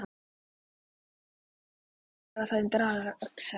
Ég þarf allavega að bera það undir Axel.